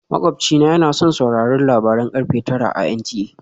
Makwabci na yana son sauraron labaran karfe tara a NTA